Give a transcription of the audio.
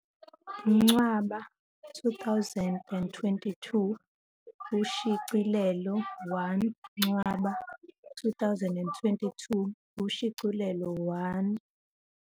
Ncwaba 2022 Ushicilelo 1 Ncwaba 2022 Ushicilelo 1